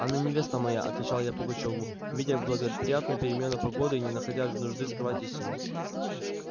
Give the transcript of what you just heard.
она невеста моя отвечал я пугачёву видя благоприятную перемену погоды и не находя нужды скрывать истину